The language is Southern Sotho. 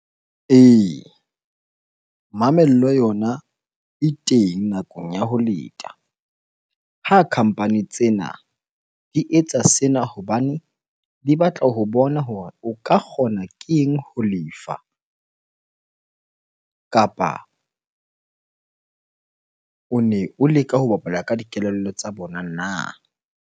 Ee, mamello yona e teng nakong ya ho leta. Ha company tsena di etsa sena hobane di batla ho bona hore o ka kgona ke eng ho lefa kapa one o leka ho bapala ka dikelello tsa bona na?